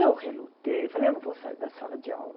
Eu relutei, falei, eu não vou sair da sala de aula.